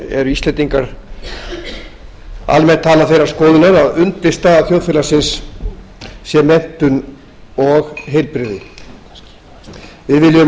eru íslendingar almennt talað þeirrar skoðunar að undirstaða þjóðfélagsins sé menntun og heilbrigði við viljum